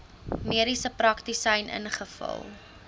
mediese praktisyn ingevul